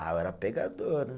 Ah, eu era pegador, né?